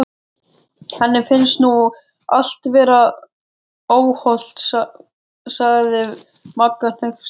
Henni finnst nú allt vera óhollt sagði Magga hneyksluð.